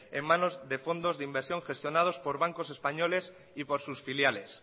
en manos de fondos de inversión gestionados por bancos españoles y por sus filiales